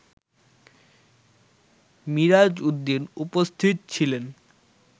মিরাজ উদ্দিন উপস্থিত ছিলেন